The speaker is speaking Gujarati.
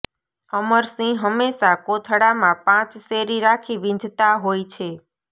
અમરસિંહ હંમેશાં કોથળામાં પાંચ શેરી રાખી વીંઝતા હોય છે